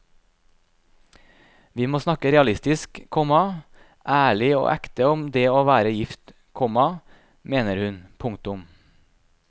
Vi må snakke realistisk, komma ærlig og ekte om det å være gift, komma mener hun. punktum